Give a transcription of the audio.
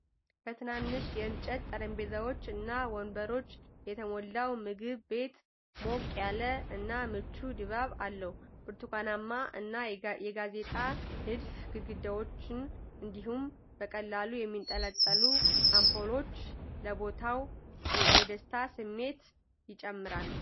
በትናንሽ የእንጨት ጠረጴዛዎች እና ወንበሮች የተሞላው ምግብ ቤት ሞቅ ያለ እና ምቹ ድባብ አለው። የብርቱካናማ እና የጋዜጣ ንድፍ ግድግዳዎች እንዲሁም በቀላሉ የሚንጠለጠሉ አምፖሎች ለቦታው የደስታ ስሜት ይጨምራሉ።